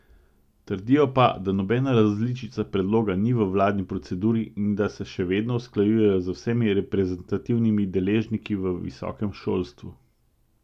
Trdijo pa, da nobena različica predloga ni v vladni proceduri in da se še vedno usklajujejo z vsemi reprezentativnimi deležniki v visokem šolstvu.